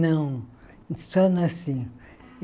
Não, só nasci.